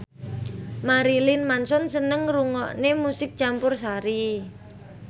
Marilyn Manson seneng ngrungokne musik campursari